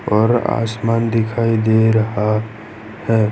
और आसमान दिखाई दे रहा है।